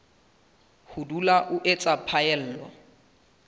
ho dula o etsa phaello